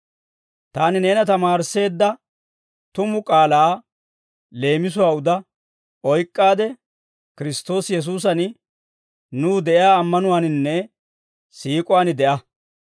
Taani neena tamaarisseedda tumu k'aalaa leemisuwaa uda oyk'k'aade, Kiristtoosi Yesuusan nuw de'iyaa ammanuwaaninne siik'uwaan de'a.